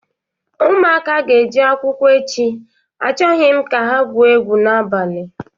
Ụmụaka a ga-eje akwụkwọ echi, achọghọ m ka ha gwuo egwu n'abalịa!